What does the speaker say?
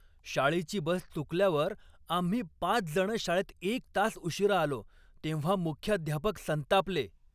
शाळेची बस चुकल्यावर आम्ही पाचजणं शाळेत एक तास उशिरा आलो तेव्हा मुख्याध्यापक संतापले.